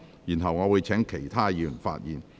然後，我會請其他議員發言。